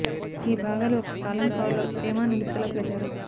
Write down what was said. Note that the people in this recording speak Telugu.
ఈ భాగాలు ఒక కాలం కవర్ లో తేమ నిలుపుదల ప్రచారం